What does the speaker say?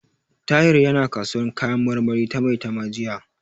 Tahir yana kasuwar kayan marmari ta Maitama jiya.